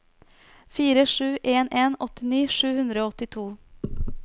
fire sju en en åttini sju hundre og åttito